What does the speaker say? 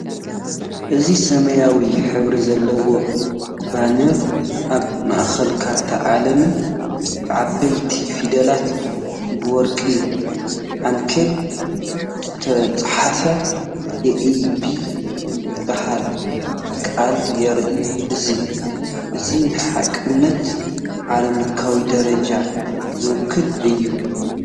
እዚ ሰማያዊ ሕብሪ ዘለዎ ባነር ኣብ ማእከል ካርታ ዓለምን ብዓበይቲ ፊደላት ብወርቂ ዓንኬል ዝተጻሕፈ ‘ኤኣይቢ’ ዝብል ቃልን ይርአ። እዚ እዚ ንሓቅነትን ዓለምለኻዊ ደረጃን ዝውክል እዩ።